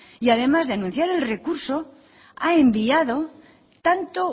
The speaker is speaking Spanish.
y además de anunciar el recurso ha enviado tanto